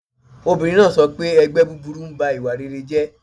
Obìnrin náà sọ pé 'ẹgbẹ́ búburú ń ba ìwà rere jẹ́'